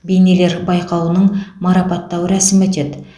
бейнелер байқауының марапаттау рәсімі өтеді